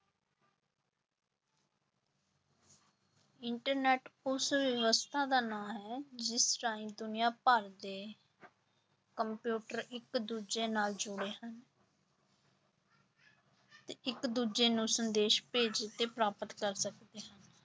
Internet ਉਸ ਵਿਵਸਥਾ ਦਾ ਨਾਂ ਹੈ ਜਿਸ ਰਾਹੀਂ ਦੁਨੀਆਂ ਭਰ ਦੇ ਕੰਪਿਊਟਰ ਇੱਕ ਦੂਜੇ ਨਾਲ ਜੁੜੇ ਹਨ ਤੇ ਇੱਕ ਦੂਜੇ ਨੂੰ ਸੰਦੇਸ਼ ਭੇਜ ਅਤੇ ਪ੍ਰਾਪਤ ਕਰ ਸਕਦੇ ਹਨ।